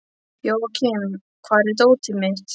Jóakim, hvar er dótið mitt?